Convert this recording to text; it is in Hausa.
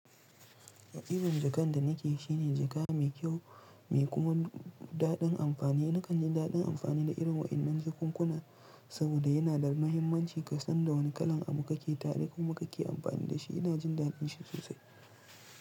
Irin jakan da nike shine jaka mai kyau mai kuma daɗin amfani. Nakan ji daɗin amfani da irin waɗannan jakunkuna saboda yana da muhimmanci kasan da wane kalan abu kake tare ko kuma kake amfani da shi. Ina jin daɗin shi sosai.